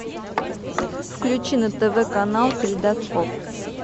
включи на тв канал калейдоскоп